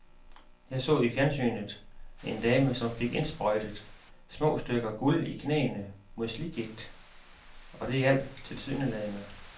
Jeg så i fjernsynet en dame, som fik indsprøjtet små stykker guld i knæene mod slidgigt, og det hjalp tilsyneladende.